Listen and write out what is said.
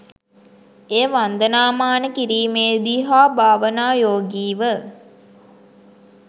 එය වන්දනාමාන කිරීමේදී හා භාවනායෝගීව